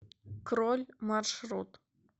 кроль маршрут